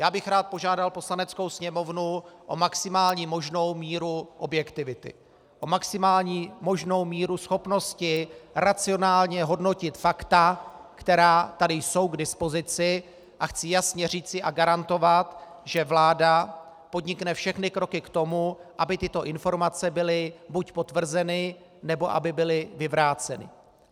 Já bych rád požádal Poslaneckou sněmovnu o maximální možnou míru objektivity, o maximální možnou míru schopnosti racionálně hodnotit fakta, která tady jsou k dispozici, a chci jasně říci a garantovat, že vláda podnikne všechny kroky k tomu, aby tyto informace byly buď potvrzeny, nebo aby byly vyvráceny.